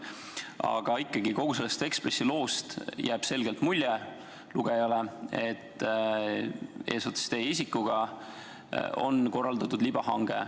Aga ikkagi, kogu sellest Ekspressi loost jääb lugejale selgelt mulje, et eesotsas teie isikuga on korraldatud libahange.